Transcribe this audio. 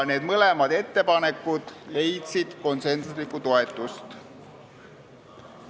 Need mõlemad ettepanekud leidsid konsensuslikku toetust.